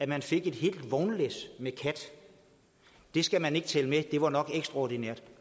man fik et helt vognlæs med kat det skal man ikke tælle med det var nok ekstraordinært